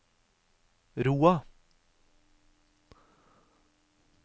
Roa